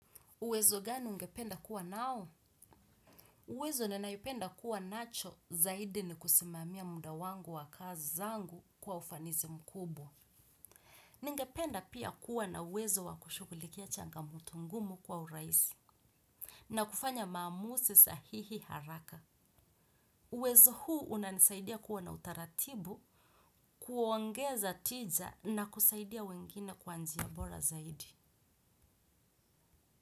Uwezo gani ungependa kuwa nao? Uwezo ninaipenda kuwa nacho zaidi ni kusimamia muda wangu wa kazi zangu kwa ufanizi mkubo. Ningependa pia kuwa na uwezo wa kushughulikia changamoto ngumu kwa uraisi. Na kufanya mamusi sahihi haraka. Uwezo huu unanisaidia kuwa na utaratibu, kuongeza tija na kusaidia wengine kwa nziya bora zaidi.